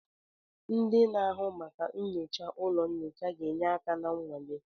Ndị na-ahụ maka nyocha ụlọ nyocha ga-enye aka na nnwale.